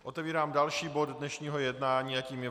Otevírám další bod dnešního jednání, kterým je